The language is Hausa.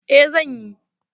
Eh, zan yi.